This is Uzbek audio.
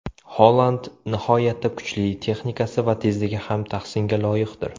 Holand nihoyatda kuchli, texnikasi va tezligi ham tahsinga loyiqdir.